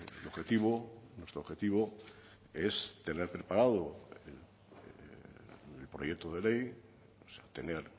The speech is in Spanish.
el objetivo nuestro objetivo es tener preparado el proyecto de ley tener